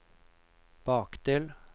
bakdel